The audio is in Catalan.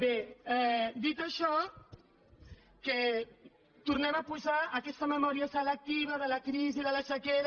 bé dit això que tornem a posar aquesta memòria selectiva de la crisi de la sequera